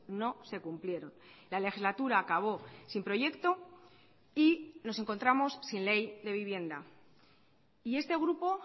no se cumplieron la legislatura acabó sin proyecto y nos encontramos sin ley de vivienda y este grupo